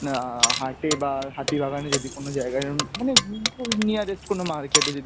আ হাটে বা হাতিবাগানে যদি কোনো জায়গায় এরম মানে nearest কোনো market এ যদি